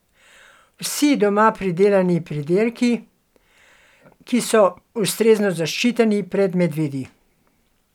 Vsi doma pridelani pridelki, ki so ustrezno zaščiteni pred medvedi.